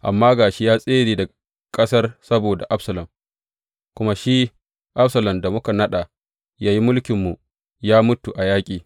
Amma ga shi ya tsere daga ƙasar saboda Absalom; kuma shi Absalom, da muka naɗa yă yi mulkinmu, ya mutu a yaƙi.